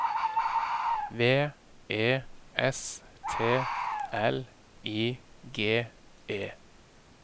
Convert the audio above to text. V E S T L I G E